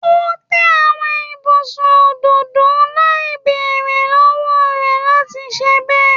O te awọn ibusun ododo lai beere lọwọ rẹ lati ṣe bẹ